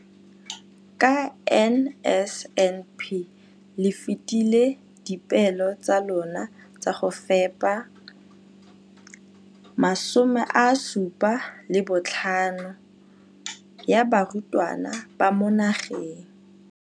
Ka NSNP le fetile dipeelo tsa lona tsa go fepa masome a supa le botlhano a diperesente ya barutwana ba mo nageng.